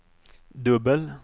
dubbel